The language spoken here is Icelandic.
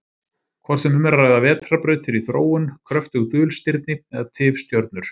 Hvort sem um er að ræða vetrarbrautir í þróun, kröftug dulstirni eða tifstjörnur.